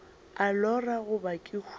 a lora goba ke hwile